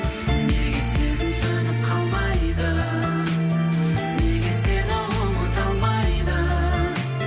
неге сезім сөніп қалмайды неге сені ұмыта алмайды